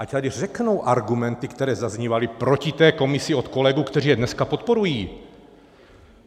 Ať tady řeknou argumenty, které zaznívaly proti té komisi od kolegů, kteří je dneska podporují.